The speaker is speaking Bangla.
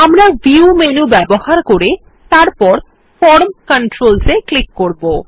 আমরা ভিউ মেনু ব্যবহার করে তারপর ফর্ম Controls এ ক্লিক করব